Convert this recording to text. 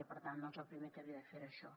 i per tant doncs el primer que havia de fer era això